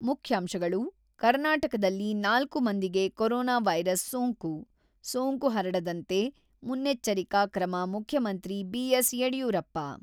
ಮುಖ್ಯಾಂಶಗಳು ಕರ್ನಾಟಕದಲ್ಲಿ ನಾಲ್ಕು ಮಂದಿಗೆ ಕೋರೊನಾ ವೈರಸ್ ಸೋಂಕು ; ಸೋಂಕು ಹರಡಂತೆ ಮುನ್ನೆಚ್ಚರಿಕಾ ಕ್ರಮ ಮುಖ್ಯಮಂತ್ರಿ ಬಿ.ಎಸ್.ಯಡಿಯೂರಪ್ಪ.